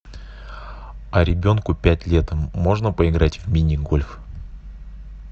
а ребенку пять лет можно поиграть в мини гольф